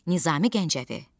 Nizami Gəncəvi.